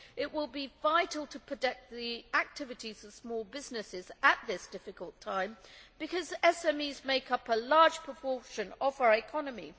It will be vital to protect the activities of small businesses at this difficult time because SMEs make up a large proportion of our economy.